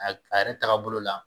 A a yɛrɛ taabolo la